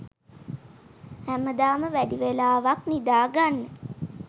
හැමදාම වැඩිවෙලාවක් නිදා ගන්න